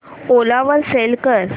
ओला वर सेल कर